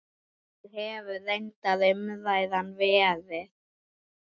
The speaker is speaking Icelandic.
Þannig hefur reyndar umræðan verið.